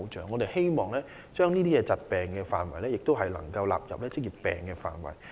我們希望將這些疾病納入職業病範圍內。